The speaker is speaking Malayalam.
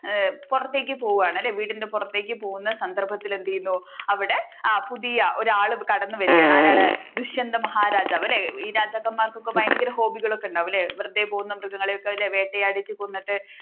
പുറത്തേക്ക് പോവുകയാണല്ലോ വീട്ടിന്റെ പുറത്തേക്ക് പോകുന്ന സന്ദർഭത്തിൽ എന്തേയുന്നു അവിടെ ആ പുതിയ ഒരാൾ കടന്നുവരികയാണ് ആരാണ് ദുഷ്യന്തൻ മഹാരാജാവ് അല്ലേ ഈ രാജാക്കന്മാർക്ക് ഒക്കെ ഭയങ്കര hobby കളൊക്കെ വെറുതെ പോകുന്ന മൃഗങ്ങളെ ഒക്കെ അല്ലേ വേട്ടയാടിട്ടു കൊന്നിട്ട്